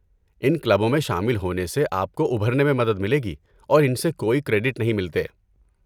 ان کلبوں میں شامل ہونے سے آپ کو ابھرنے میں مدد ملے گی، اور ان سے کوئی کریڈٹ نہیں ملتے۔